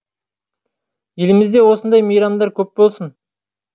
елімізде осындай мейрамдар көп болсын